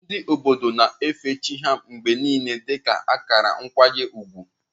Ndị obodo na-efe chi ha mgbe niile dị ka akara nkwanye ùgwù.